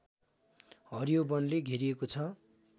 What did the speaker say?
हरियो वनले घेरिएको छ